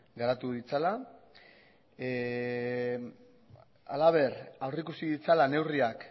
garatu ditzala halaber aurreikusi ditzala neurriak